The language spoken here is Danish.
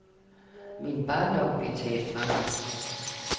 Min barndom blev taget fra mig.